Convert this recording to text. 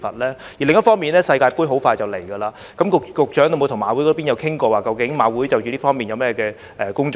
另一方面，世界盃快要展開，局長有否與馬會討論其接下來會就這方面進行哪些工作？